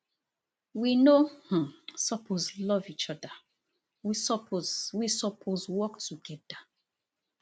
we no um suppose love each oda we suppose we suppose work togeda